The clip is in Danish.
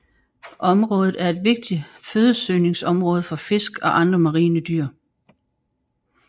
Området er et vigtigt fødesøgningsområde for fisk og andre marine dyr